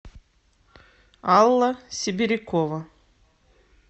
алла сибирякова